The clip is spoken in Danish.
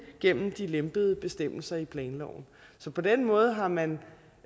gennem de lempede bestemmelser i planloven så på den måde har man